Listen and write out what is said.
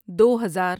دو ہزار